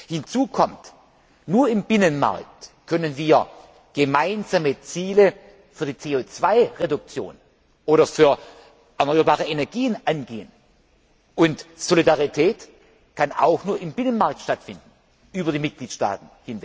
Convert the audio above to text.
Hinzu kommt Nur im Binnenmarkt können wir gemeinsame Ziele für die CO 2 Reduktion oder für erneuerbare Energien angehen. Und Solidarität kann auch nur im Binnenmarkt stattfinden, über die Mitgliedstaaten.